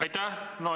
Aitäh!